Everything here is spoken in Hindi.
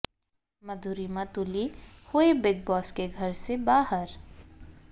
मधुरिमा तुली हुई बिग बॉस के घर से बाहर